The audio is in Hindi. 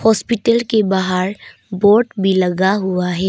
हॉस्पिटल के बाहर बोर्ड भी लगा हुआ है।